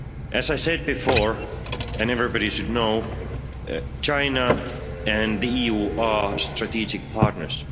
As I said before, and as everybody should know, China and the EU are strategic partners.